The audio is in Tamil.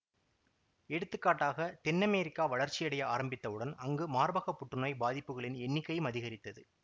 எடுத்துக்காட்டாக தென் அமெரிக்கா வளர்ச்சியடைய ஆரம்பித்தவுடன் அங்கு மார்பக புற்றுநோய் பாதிப்புகளின் எண்ணிக்கையும் அதிகரித்தது